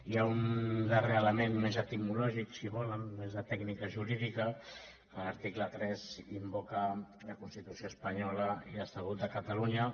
hi ha un darrer element més etimològic si ho volen més de tècnica jurídica que l’article tres invoca la constitució espanyola i l’estatut de catalunya